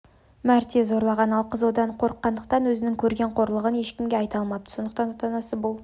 мәрте зорлаған ал қыз одан қорыққандықтан өзінің көрген қорлығын ешкімге айта алмапты сондықтан ата-анасы бұл